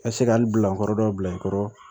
Ka se k'an bilakɔrɔdɔ bila n kɔrɔ